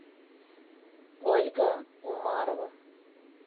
ольга умарова